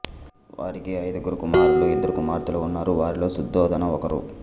వారికి ఐదుగురు కుమారులు ఇద్దరు కుమార్తెలు ఉన్నారు వారిలో శుద్ధోదన ఒకరు